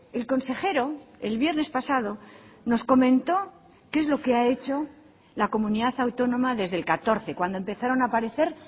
el consejero el viernes pasado nos comentó qué es lo que ha hecho la comunidad autónoma desde el catorce cuando empezaron a aparecer